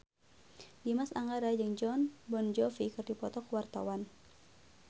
Dimas Anggara jeung Jon Bon Jovi keur dipoto ku wartawan